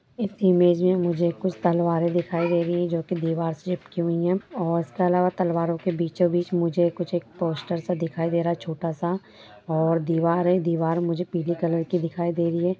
इस इमेज में मुझे कुछ तलवारें दिखाई दे रही है जो की दीवार से चिपकी हुई है और उसके आलावा तलवारो के बीचो-बीच मुझे कुछ एक पोस्टर सा दिखाई दे रहा है छोटा-सा और दीवार है दीवार मुझे पीले कलर की दिखाई दे रही है।